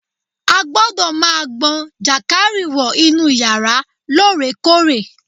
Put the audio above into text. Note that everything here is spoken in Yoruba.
A gbọ́dọ̀ ma gbọn jànkárìwọ̀ inú yàrá lóòrèkóòrè